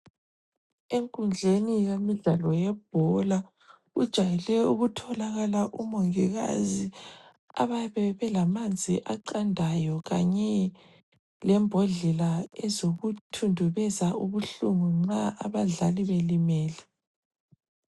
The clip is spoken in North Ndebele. Enkundleni yemidlalo yebhola kujayele ukutholakala omongikazi abayabe belamanzi aqandayo kanye lembodlela ezokuthunduzeza ubuhlungu nxa abadlali belimele.